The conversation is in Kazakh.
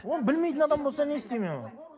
оны білмейтін адам болса не істеймін мен оны